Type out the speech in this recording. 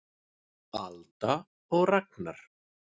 Alda og Ragnar.